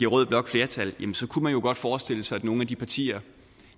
rød blok flertal kunne man jo godt forestille sig at nogle af de partier